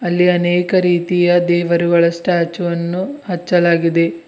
ಅಲ್ಲಿ ಅನೇಕ ರೀತಿಯ ದೇವರುಗಳ ಸ್ಟ್ಯಾಚು ಅನ್ನು ಹಚ್ಚಲಾಗಿದೆ.